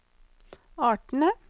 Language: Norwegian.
artene